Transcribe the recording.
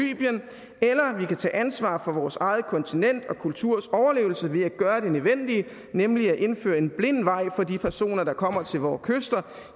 kan tage ansvar for vores eget kontinents og kulturs overlevelse ved at gøre det nødvendige nemlig at indføre en blind vej for de personer der kommer til vores kyster